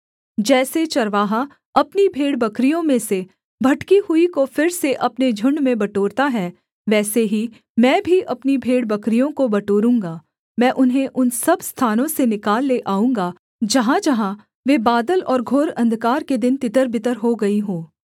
जैसे चरवाहा अपनी भेड़बकरियों में से भटकी हुई को फिर से अपने झुण्ड में बटोरता है वैसे ही मैं भी अपनी भेड़बकरियों को बटोरूँगा मैं उन्हें उन सब स्थानों से निकाल ले आऊँगा जहाँजहाँ वे बादल और घोर अंधकार के दिन तितरबितर हो गई हों